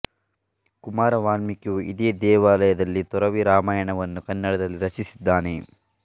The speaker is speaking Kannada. ಕುಮಾರ ವಾಲ್ಮೀಕಿಯು ಇದೇ ದೇವಾಲಯ ದಲ್ಲಿ ತೊರವಿ ರಾಮಾಯಣವನ್ನು ಕನ್ನಡದಲ್ಲಿ ರಚಿಸಿದ್ದಾನೆ